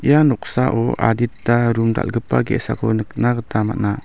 ia noksao adita rum dal·gipa ge·sako nikna gita man·a.